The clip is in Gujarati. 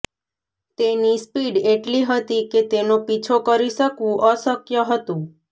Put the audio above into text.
તેની સ્પીડ એટલી હતી કે તેનો પીછો કરી શકવું અશક્ય હતું